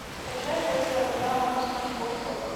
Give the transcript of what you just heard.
скачай горькая луна окко смарт бокс окко